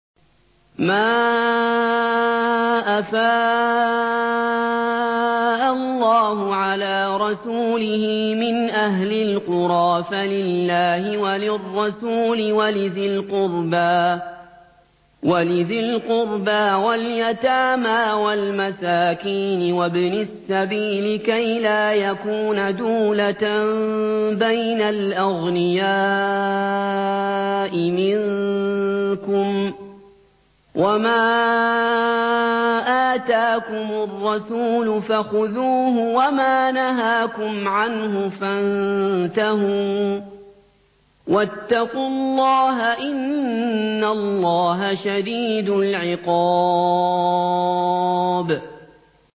مَّا أَفَاءَ اللَّهُ عَلَىٰ رَسُولِهِ مِنْ أَهْلِ الْقُرَىٰ فَلِلَّهِ وَلِلرَّسُولِ وَلِذِي الْقُرْبَىٰ وَالْيَتَامَىٰ وَالْمَسَاكِينِ وَابْنِ السَّبِيلِ كَيْ لَا يَكُونَ دُولَةً بَيْنَ الْأَغْنِيَاءِ مِنكُمْ ۚ وَمَا آتَاكُمُ الرَّسُولُ فَخُذُوهُ وَمَا نَهَاكُمْ عَنْهُ فَانتَهُوا ۚ وَاتَّقُوا اللَّهَ ۖ إِنَّ اللَّهَ شَدِيدُ الْعِقَابِ